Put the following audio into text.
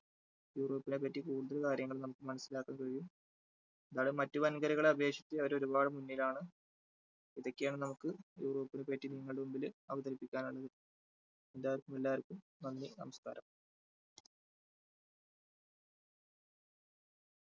യൂറോപ്പിനെ പറ്റി കൂടുതൽ കാര്യങ്ങൾ നമുക്ക് മനസ്സിലാക്കുകയും നമ്മുടെ മറ്റ് വന്‍കരകളെ അപേക്ഷിച്ച് അവർ ഒരുപാട് മുന്നിലാണ് ഇതൊക്കെയാണ് നമുക്ക് യൂറോപ്പിനെ പറ്റി നിങ്ങളുടെ മുമ്പില് അവതരിപ്പിക്കാനുള്ളത്. എല്ലാവർക്കും എല്ലാവർക്കും നന്ദി, നമസ്കാരം.